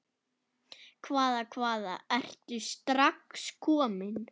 Hvaða, hvaða, ertu strax kominn?